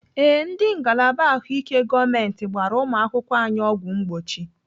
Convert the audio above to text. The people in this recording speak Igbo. Ee, ndị ngalaba ahụike gọọmenti gbara ụmụakwụkwọ anyị ọgwụ mgbochi.